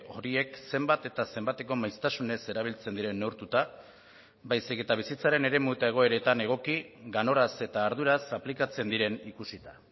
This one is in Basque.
horiek zenbat eta zenbateko maiztasunez erabiltzen diren neurtuta baizik eta bizitzaren eremu eta egoeretan egoki ganoraz eta arduraz aplikatzen diren ikusita